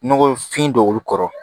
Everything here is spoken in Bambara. Nɔgɔfin dɔw kɔrɔ